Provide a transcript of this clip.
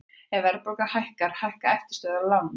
Ef verðbólga hækkar hækka eftirstöðvar á láninu mínu.